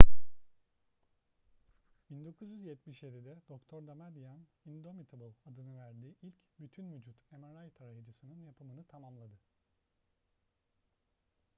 1977'de dr damadian indomitable adını verdiği ilk bütün vücut mri tarayıcısının yapımını tamamladı